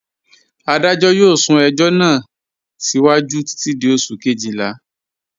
Adajọ yọọ sún ẹjọ̀ náà síwájú títi di Oṣù̀ kẹ́jìlá.